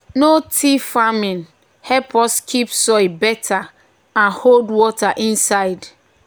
no-till farming help us keep soil better and hold water inside.